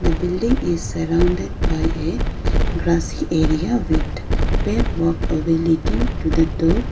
the building is surrounded by a grassy area with pave walkway leading to the door.